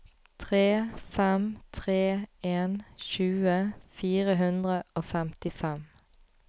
tre fem tre en tjue fire hundre og femtifem